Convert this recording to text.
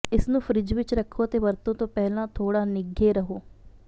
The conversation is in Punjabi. ਇਸ ਨੂੰ ਫਰਿੱਜ ਵਿਚ ਰੱਖੋ ਅਤੇ ਵਰਤੋਂ ਤੋਂ ਪਹਿਲਾਂ ਥੋੜ੍ਹਾ ਨਿੱਘੇ ਰਹੋ